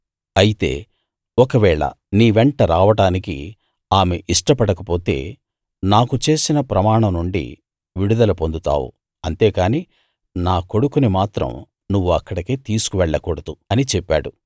అయితే ఒకవేళ నీ వెంట రావడానికి ఆమె ఇష్టపడక పొతే నాకు చేసిన ప్రమాణం నుండి విడుదల పొందుతావు అంతేకానీ నా కొడుకుని మాత్రం నువ్వు అక్కడికి తీసుకు వెళ్ళకూడదు అని చెప్పాడు